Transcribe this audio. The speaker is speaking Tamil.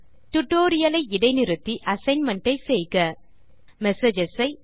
டியூட்டோரியல் ஐ இடைநிறுத்தி அசைன்மென்ட் ஐ செய்க மெசேஜஸ் ஐ